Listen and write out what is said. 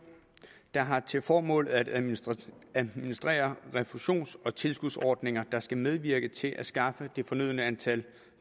der har til formål at administrere administrere refusions og tilskudsordninger der skal medvirke til at skaffe det fornødne antal